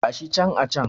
Gashi can a can